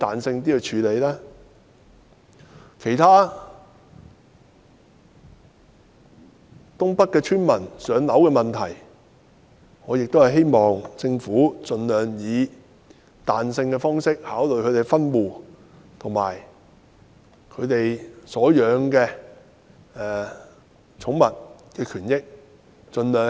至於其他有關東北地區村民"上樓"的問題，我亦希望政府盡量彈性考慮他們的分戶要求，以及所飼養寵物的權益。